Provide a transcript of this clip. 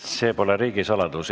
See pole riigisaladus.